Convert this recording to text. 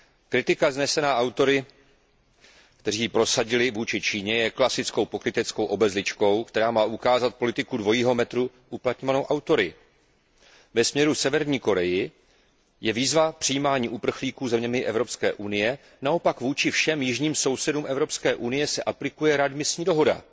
Kritika vznesená autory, kteří ji prosadili vůči Číně, je klasickou pokryteckou obezličkou, která má ukázat politiku dvojího metru uplatňovanou autory. Ve směru Severní Koreji je výzva k přijímání uprchlíků zeměmi Evropské unie, naopak vůči všem jižním sousedům Evropské unie se aplikuje readmisní dohoda.